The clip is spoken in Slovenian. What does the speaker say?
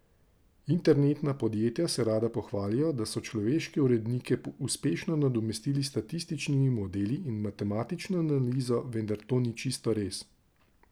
Internetna podjetja se rada pohvalijo, da so človeške urednike uspešno nadomestili s statističnimi modeli in matematično analizo, vendar to ni čisto res.